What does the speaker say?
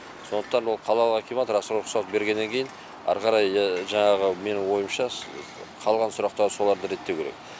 сондықтан ол қалалық акимат рас рұқсат бергеннен кейін ары қарай жаңағы менің ойымша қалған сұрақтарды солар реттеуі керек